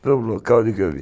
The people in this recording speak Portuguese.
Foi um local onde eu vi.